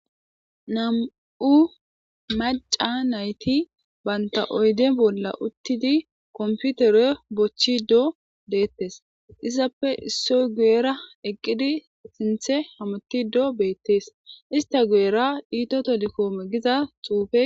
Nam'u maca nayti banta oyde bolla uttidi komputere bochchi do deettes izappe issoy guyera eqqidi sinthe hamoti do beettees ista guyera diito tolikoome giza xuufe